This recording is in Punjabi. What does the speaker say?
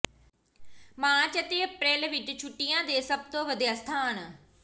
ਮਾਰਚ ਅਤੇ ਅਪ੍ਰੈਲ ਵਿੱਚ ਛੁੱਟੀਆਂ ਦੇ ਸਭ ਤੋਂ ਵਧੀਆ ਸਥਾਨ